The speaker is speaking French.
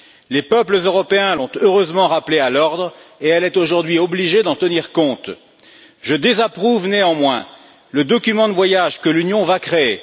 Les peuples européens l'ont heureusement rappelée à l'ordre et elle est aujourd'hui obligée d'en tenir compte. Je désapprouve néanmoins le document de voyage que l'Union va créer.